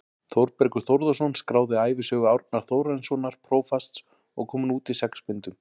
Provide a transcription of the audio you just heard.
Þórbergur Þórðarson skráði ævisögu Árna Þórarinssonar prófasts og kom hún út í sex bindum.